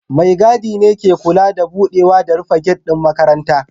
Mai gadi ne ke kula da budewa da rufe gate din makarantar